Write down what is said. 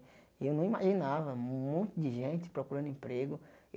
E eu não imaginava um monte de gente procurando emprego.